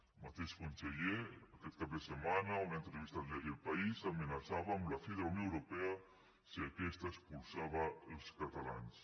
el mateix conseller aquest cap de setmana a una entrevista al diari el país amenaçava amb la fi de la unió europea si aquesta expulsava els catalans